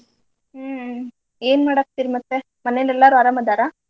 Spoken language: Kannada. ಹ್ಮ್ ಏನ್ ಮಡಕತ್ತೀರ ಮತ್ತ ಮನೆಲೆಲ್ಲಾರು ಅರಾಮ್ ಅದಾರ?